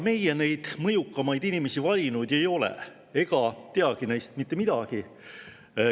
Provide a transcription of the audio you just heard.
Meie neid mõjukamaid inimesi valinud ei ole ega tea neist mitte midagi.